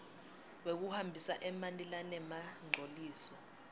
wekuhambisa emanti lanemangcoliso